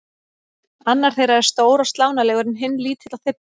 Annar þeirra er stór og slánalegur en hinn lítill og þybbinn.